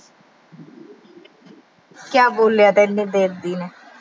ਕਿਆ ਬੋਲਿਆ ਇੰਨੀ ਦੇਰ ਦੀ ਨੇ।